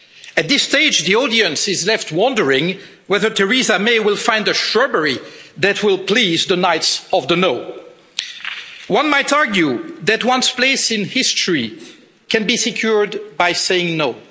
At this stage, the audience is left wondering whether Theresa May will find a shrubbery that will please the Knights of No. One might argue that one's place in history can be secured by saying no'.